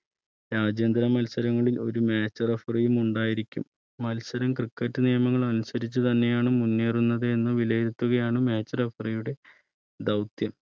രാജ്യാന്തര മത്സരങ്ങളിൽ ഒരു Match referee യും ഉണ്ടായിരിക്കും മത്സര cricket നിയമങ്ങൾ അനുസരിച്ച് തന്നെയാണ് മുന്നേറുന്നത് എന്ന് വിലയിരുത്തുകയാണ് Match referee യുടെ ദൗത്യം